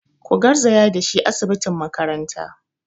Ku garzaya da shi asibitin makaranta!